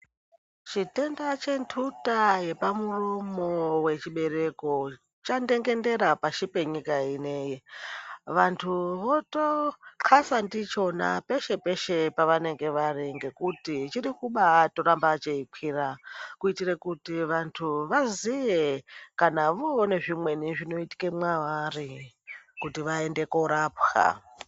Chitenda chenhuta yepamuromo wechibereko chandengendera pasi penyika ino. Vandu votxasa ndichona peshe peshe pavanenge vari ngekuti chirikuramba cheikwira kuitira kuti vantu vaziye kana voone zvimweni zvinoitika mwavari kuti vaende korapwa.